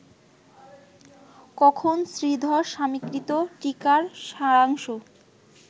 কখন শ্রীধরস্বামিকৃত টীকার সারাংশ